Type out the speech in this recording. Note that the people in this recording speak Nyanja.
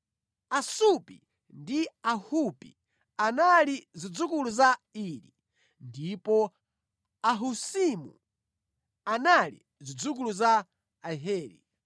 Asupi ndi Ahupi anali zidzukulu za Iri, ndipo Ahusimu anali zidzukulu za Aheri.